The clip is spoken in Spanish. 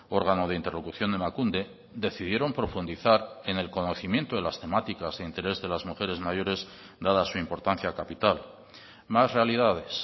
órgano de interlocución de emakunde decidieron profundizar en el conocimiento de las temáticas de interés de las mujeres mayores dada su importancia capital más realidades